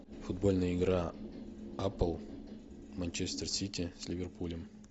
футбольная игра апл манчестер сити с ливерпулем